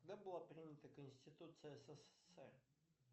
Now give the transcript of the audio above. когда была принята конституция ссср